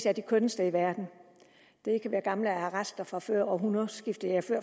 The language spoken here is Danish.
er de kønneste i verden det kan være gamle arrester fra før århundredskiftet ja